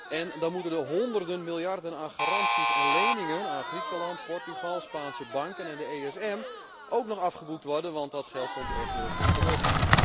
En dan moeten de honderden miljarden aan garanties en leningen aan Griekenland, Portugal, Spaanse banken en het ESM ook nog afgeboekt worden, want dat geld komt echt nooit meer terug.